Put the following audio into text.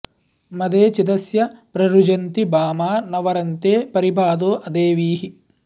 मदे चिदस्य प्र रुजन्ति भामा न वरन्ते परिबाधो अदेवीः